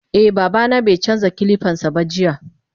Eh babana baicanja kilipansaba jiya.